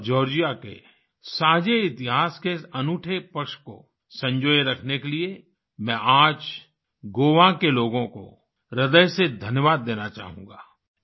भारत और जॉर्जिया के साझे इतिहास के इस अनूठे पक्ष को संजोए रखने के लिए मैं आज गोवा के लोगों को हृदय से धन्यवाद देना चाहूँगा